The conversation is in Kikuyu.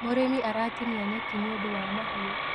Mũrĩmi aratinia nyekĩ nĩũndũ wa mahiũ